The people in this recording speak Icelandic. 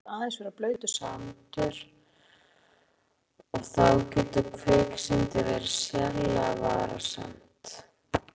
Stundum sýnist yfirborðið aðeins vera blautur sandur og þá getur kviksyndið verið sérlega varasamt.